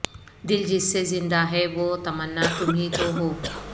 دل جس سے زندہ ہے وہ تمنا تمہی تو ہو